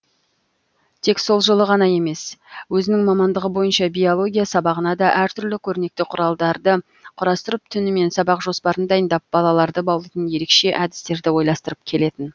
тек сол жылы ғана емес өзінің мамандығы бойынша биология сабағына да әртүрлі көрнекі құралдарды құрастырып түнімен сабақ жоспарын дайындап балаларды баулитын ерекше әдістерді ойластырып келетін